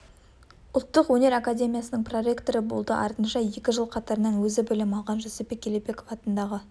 ұлттық өнер академиясының проректоры болды артынша екі жыл қатарынан өзі білім алған жүсіпбек елебеков атындағы